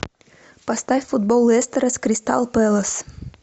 поставь футбол лестера с кристал пэлас